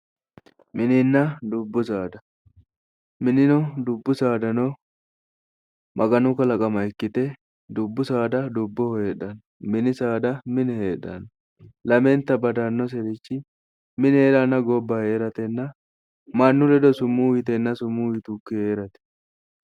Mininna dubbu saada, mininna dubbu saada maganu kalaqama ikkite dubbu saada dubboho heedhanno, mini saada mine heedhanno. Lamenta badannoseri mine hee'ratenna gobba hee'rate mannu ledo umo tugge hee'rate.